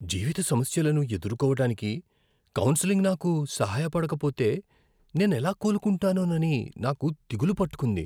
జీవిత సమస్యలను ఎదుర్కోవటానికి కౌన్సెలింగ్ నాకు సహాయపడకపోతే నేనెలా కోలుకుంటానోనని నాకు దిగులు పట్టుకుంది.